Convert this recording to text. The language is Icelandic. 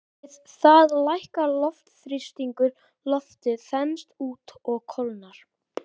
Við það lækkar loftþrýstingur, loftið þenst út og kólnar.